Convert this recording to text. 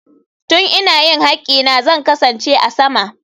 Tun ina yin haƙƙina zan kasance a sama.